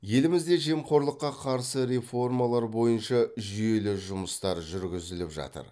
елімізде жемқорлыққа қарсы реформалар бойынша жүйелі жұмыстар жүргізіліп жатыр